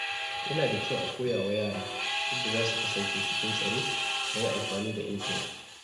Yana da kyau a koya wa yara yadda za su kasance cikin tsaro yayin amfani da intanet.